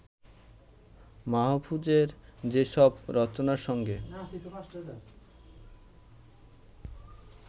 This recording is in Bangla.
মাহফুজের যেসব রচনার সঙ্গে